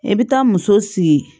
E bɛ taa muso sigi